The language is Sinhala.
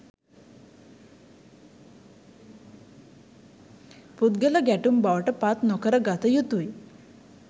පුද්ගල ගැටුම් බවට පත් නො කර ගත යුතුයි